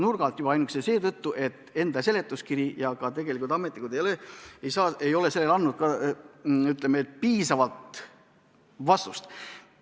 Seda juba ainuüksi seetõttu, et seletuskiri ja ka ametnikud ei ole andnud piisavaid vastuseid.